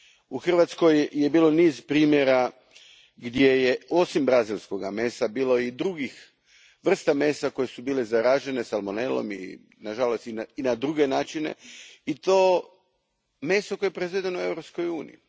U Hrvatskoj je bilo niz primjera gdje je osim brazilskoga mesa bilo i drugih vrsta mesa koje su bile zaražene salmonelom i na žalost i na druge načine i to meso koje je proizvedeno u Europskoj uniji.